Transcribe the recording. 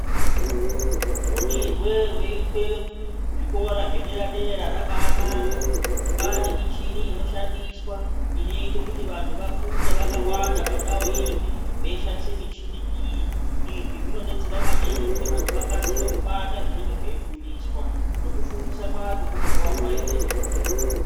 Fundirwe roitwe kuzvikora zvedera dera rabaa naka, kwaane mishini inoshandiswa inoita kuti vantu vafunde vakawanda pandau imwe veishandise mishini iyi izvi zvinobetsera maningi kuti vantu vakasire kubata zvinenge zveifundiswa nekufundiswa kwacho kunobva kwaite nyore.